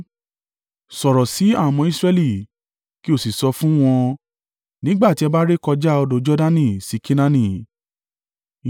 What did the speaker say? “Sọ̀rọ̀ sí àwọn ọmọ Israẹli, kí o sì sọ fún wọn: ‘Nígbà tí ẹ bá rékọjá odò Jordani sí Kenaani,